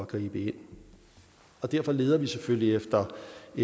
gribe ind og derfor leder vi selvfølgelig efter